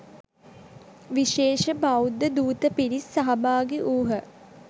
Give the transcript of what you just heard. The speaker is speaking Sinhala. විශේෂ බෞද්ධ දූත පිරිස් සහභාගි වූ හ.